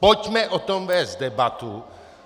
Pojďme o tom vést debatu.